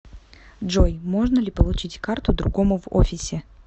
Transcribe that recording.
джой можно ли получить карту другому в офисе